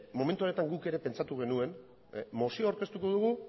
momentu honetan guk ere pentsatu genuen mozioa aurkeztuko dugu